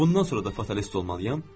Bundan sonra da fatalist olmalıyam.